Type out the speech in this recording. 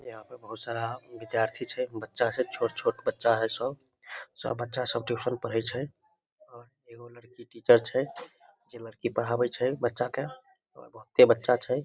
यहां पर बहुत सारा विद्यार्थी छै बच्चा छै छोट-छोट बच्चा है सब सब बच्चा सब ट्यूशन पढ़े छै एगो लड़की टीचर छै जेई लड़की पढ़ाबे छै बच्चा के और बहुते बच्चा छै।